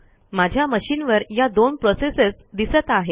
माझ्या मशिनवर या दोन प्रोसेसेस दिसत आहेत